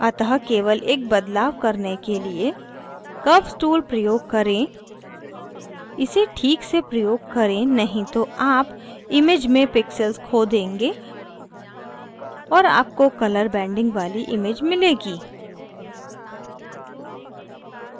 अतः केवल एक बदलाव करने के लिए curves tool प्रयोग करें इसे ठीक से प्रयोग करें नहीं तो आप image में pixels so change और आपको colour banding वाली image मिलेगी